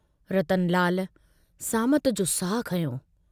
रतनलाल सामत जो साहु खंयो।